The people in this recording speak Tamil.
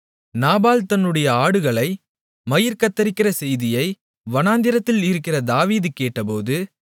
நாபால் தன்னுடைய ஆடுகளை மயிர் கத்தரிக்கிற செய்தியை வனாந்தரத்தில் இருக்கிற தாவீது கேட்டபோது